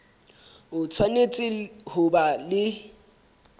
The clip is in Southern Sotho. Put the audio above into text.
o tshwanetse ho ba le